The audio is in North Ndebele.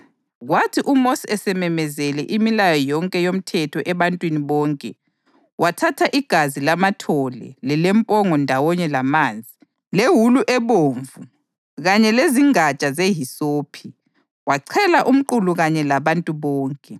Kwathi uMosi esememezele imilayo yonke yomthetho ebantwini bonke, wathatha igazi lamathole lelempongo ndawonye lamanzi, lewulu ebomvu kanye lezingatsha zehisophi, wachela umqulu kanye labantu bonke.